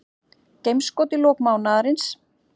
Geimskot í lok mánaðarins